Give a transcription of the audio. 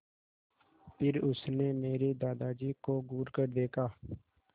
फिर उसने मेरे दादाजी को घूरकर देखा